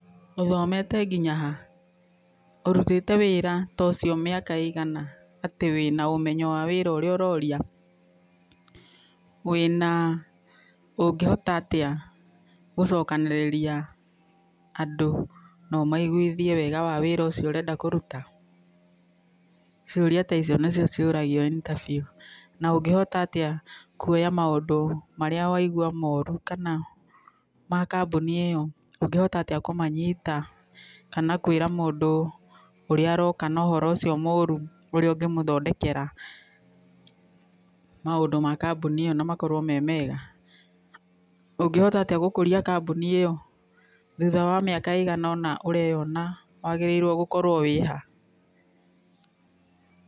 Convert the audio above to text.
Uthomete ngĩnya ha? Ũrũtĩte wĩra ta ucio mĩaka ĩigana, atĩ wĩna ũmenyo wa wĩra ũraũrĩa? Wĩna ũngĩhota atĩa gũcokanĩrĩria andũ nao maigũĩthĩe wega wĩra ũcio ũrenda kũrũta? Ciũria ta icio nĩcio ciũragio interview, na ũngĩhota aĩa kũoya maundũ marĩa waigũa morũ kana ma kambuni ĩyo, ũngĩhota atĩa kũmanyita kana kwĩra mũndũ ũrĩa aroka na ũhoro ũcio morũ, ũrĩa ũngĩmũthondekera maũndũ ma kambũni ĩno na makorwo me mega? Ũngĩhota atĩa gũkũria kambuni ĩyo thũtha wa mĩaka ĩigana ona ũraeona wagĩrĩirwo gũkorwo wĩha?